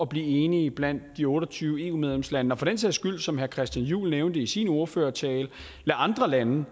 blive enige blandt de otte og tyve eu medlemslande og for den sags skyld som herre christian juhl nævnte i sin ordførertale lade andre lande